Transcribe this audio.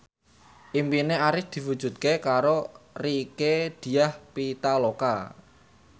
impine Arif diwujudke karo Rieke Diah Pitaloka